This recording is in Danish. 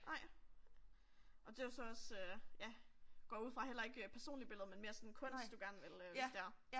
Nej. Og det er jo så også øh ja går jeg ud fra heller ikke personlige billeder men mere sådan kunst du gerne vil øh hvis det er